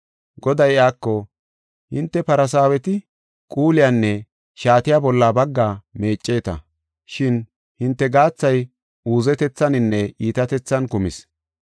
Goday iyako, “Hinte Farsaaweti quulesinne shaates bolla bagga meeceta. Shin hinte gaathay uuzetethaninne iitatethan kumis.